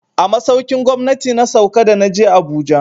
A masaukin gwamnati na sauka da na je Abuja.